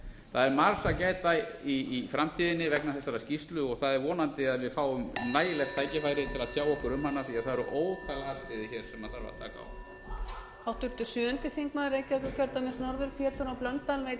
það er margs að gæta í framtíðinni vegna þessarar skýrslu og það er vonandi að við fáum nægilegt tækifæri til að tjá okkur um hana því að það eru ótal atriði hér sem þarf að taka á